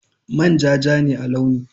Manja ja ne a launi.